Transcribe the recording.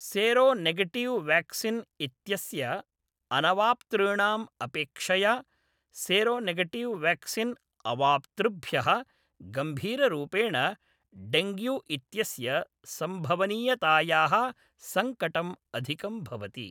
Seronegative vaccine इत्यस्य अनवाप्तॄणाम् अपेक्षया सेरोनेगेटिव् वाक्सिन् अवाप्तृभ्यः गम्भीररूपेण डेङ्ग्यू इत्यस्य सम्भवनीयतायाः सङ्कटम् अधिकं भवति।